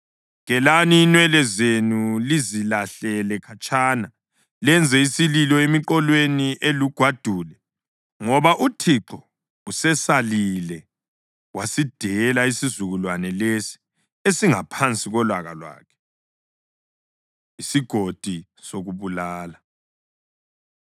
Gelani inwele zenu lizilahlele khatshana; lenze isililo emiqolweni elugwadule, ngoba uThixo usesalile wasidela isizukulwane lesi esingaphanasi kolaka lwakhe.’ ” ISigodi Sokubulala